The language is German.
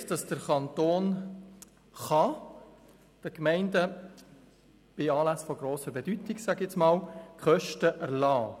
Es steht, dass der Kanton den Gemeinden bei Anlässen von grosser Bedeutung Kosten erlassen kann.